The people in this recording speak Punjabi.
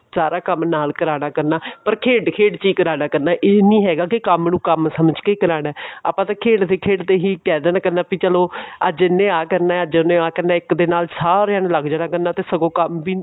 ਸਾਰਾ ਕੰਮ ਨਾਲ ਕਰਾਇਆ ਕਰਨਾ ਪਰ ਖੇਡ ਖੇਡ ਚ ਕਰਾ ਲਿਆ ਕਰਨਾ ਇਹ ਨਹੀਂ ਹੈਗਾ ਵੀ ਕੰਮ ਨੂੰ ਕੰਮ ਸਮਝ ਕੇ ਕਰਾਨਾ ਆਪਾਂ ਤਾਂ ਖੇਡਦੇ ਖੇਡਦੇ ਹੀ ਕਹਿ ਦੇਣਾ ਕਰਨਾ ਵੀ ਚੱਲੋ ਅੱਜ ਇਹਨੇ ਆ ਕਰਨਾ ਅੱਜ ਉਹਨੇ ਆ ਕਰਨਾ ਇੱਕ ਦੇ ਨਾਲ ਸਾਰਿਆ ਨੇ ਲੱਗ ਜੀਆ ਕਰਨਾ ਤੇ ਸਗੋਂ ਕੰਮ ਵੀ